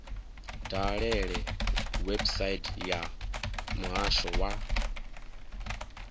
dalele website ya muhasho wa